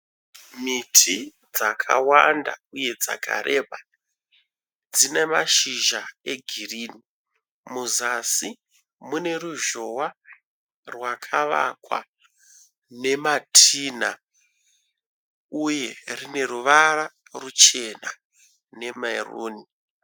Miti dzakawanda uye dzakarebe dzinemashizha egirini muzasi mune ruzhowa rwakawakwa nematinha uye rine ruvara ruchena nemeruni